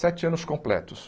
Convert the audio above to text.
Sete anos completos.